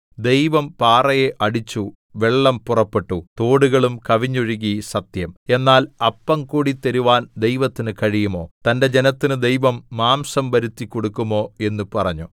ദൈവം പാറയെ അടിച്ചു വെള്ളം പുറപ്പെട്ടു തോടുകളും കവിഞ്ഞൊഴുകി സത്യം എന്നാൽ അപ്പംകൂടി തരുവാൻ ദൈവത്തിന് കഴിയുമോ തന്റെ ജനത്തിന് ദൈവം മാംസം വരുത്തി കൊടുക്കുമോ എന്ന് പറഞ്ഞു